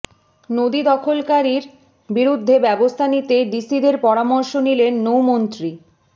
নদী দখলকারীর বিরুদ্ধে ব্যবস্থা নিতে ডিসিদের পরামর্শ দিলেন নৌমন্ত্রী